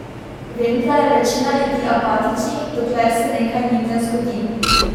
Vem, da je večina ljudi apatičnih, dokler se nekaj njim ne zgodi.